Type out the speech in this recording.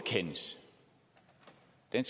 man